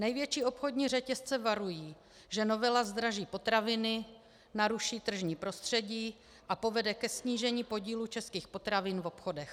Největší obchodní řetězce varují, že novela zdraží potraviny, naruší tržní prostředí a povede ke snížení podílu českých potravin v obchodech.